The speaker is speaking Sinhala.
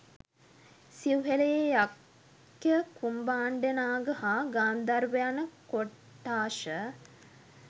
සිව්හෙළයේ යක්ඛ කුම්භාණ්ඩනාග හා ගාන්ධාර්ව යන කොට්ඨාශ